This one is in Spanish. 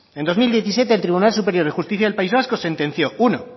en dos mil diecisiete el tribunal superior de justicia del país vasco sentenció uno